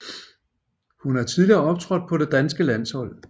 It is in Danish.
Hun har tidligere optrådt på det danske landshold